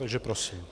Takže prosím.